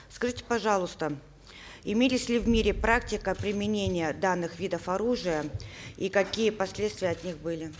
скажите пожалуйста имелась ли в мире практика применения данных видов оружия и какие последствия от них были